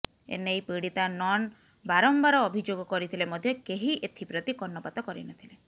ଏନେଇ ପୀଡ଼ିତା ନନ୍ ବାରମ୍ବାର ଅଭିଯୋଗ କରିଥିଲେ ମଧ୍ୟ କେହି ଏଥିପ୍ରତି କର୍ଣ୍ଣପାତ କରିନଥିଲେ